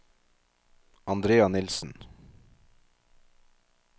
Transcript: Andrea Nilssen